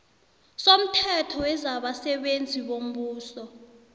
somthetho wezabasebenzi bombuso